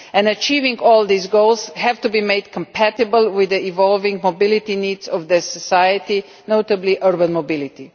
Achieving all these goals has to be made compatible with the evolving mobility needs of society, notably urban mobility.